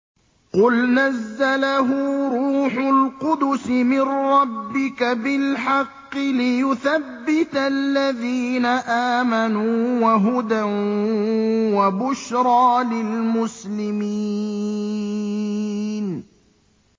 قُلْ نَزَّلَهُ رُوحُ الْقُدُسِ مِن رَّبِّكَ بِالْحَقِّ لِيُثَبِّتَ الَّذِينَ آمَنُوا وَهُدًى وَبُشْرَىٰ لِلْمُسْلِمِينَ